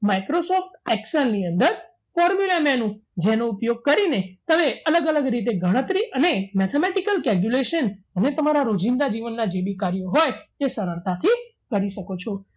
Microsoft excel ની અંદર formula menu જેનો ઉપયોગ કરીને તમે અલગ અલગ રીતે ગણતરી અને mathematical calculation અને તમારા રોજિંદા જીવનના જે બી કાર્યો હોય એ સરળતાથી કરી શકો છો